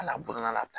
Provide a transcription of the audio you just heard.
A la boana la